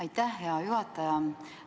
Aitäh, hea juhataja!